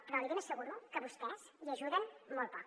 però li ben asseguro que vostès hi ajuden molt poc